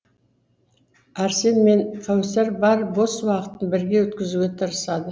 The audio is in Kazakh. арсен мен кәусар бар бос уақытын бірге өткізуге тырысады